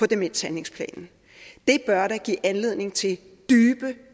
demenshandlingsplanen det bør da give anledning til